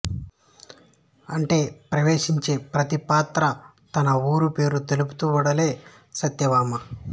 అంటే ప్రవేశించే ప్రతి పాత్రా తన వూరు పేరు తెలుపుతూ వెడలె సత్య భామ